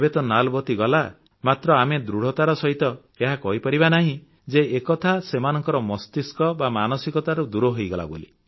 ଏବେ ତ ନାଲବତୀ ଗଲା ମାତ୍ର ଆମେ ଦୃଢ଼ତାର ସହିତ ଏହା କହିପାରିବା ନାହିଁ ଯେ ଏକଥା ସେମାନଙ୍କର ମସ୍ତିଷ୍କ ବା ମାନସିକତାରୁ ଦୂର ହୋଇଗଲା ବୋଲି